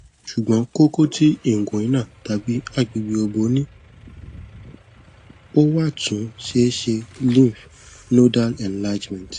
ṣugbọn koko ti inguinal tabi agbegbe obo ni o wa tun seese lymph nodal enlargement